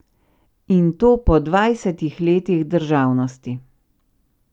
In to po dvajsetih letih državnosti.